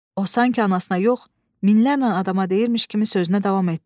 O sanki anasına yox, minlərlə adama deyirmiş kimi sözünə davam etdi.